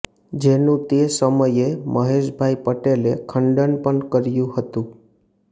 જેનું તે સમયે મહેશભાઇ પટેલે ખંડન પણ કર્યુ હતું